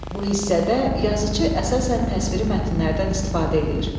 Bu hissədə yazıçı əsasən təsviri mətnlərdən istifadə eləyir.